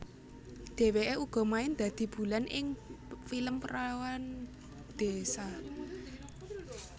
Dheweke uga main dadi Bulan ing film Perawan Désa